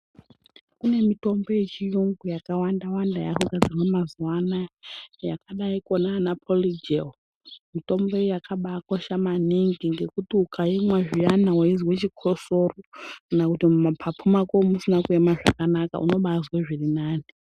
Kune mitombo yechiyungu yakawanda-wanda yaakugadzirwa mazuwa anaya, yakadaiko naana polijelu. Mitombo iyi yakabaakosha maningi ngekuti ukaimwa zviyana weizwa chikosoro, kana kuti mumaphaphu mako musina kuema zvakanaka unobaazwe zvirinani.